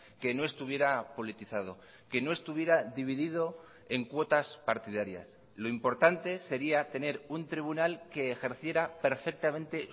que no estuviera politizado que no estuviera dividido en cuotas partidarias lo importante sería tener un tribunal que ejerciera perfectamente